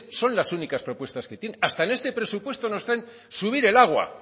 son las únicas propuestas que tienen hasta en este presupuesto no está el subir el agua